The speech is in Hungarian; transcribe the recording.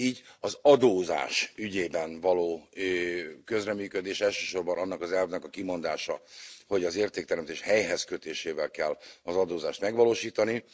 Így az adózás ügyében való közreműködés és elsősorban annak az elvnek a kimondása hogy az értékteremtés helyhez kötésével kell az adózást megvalósítani.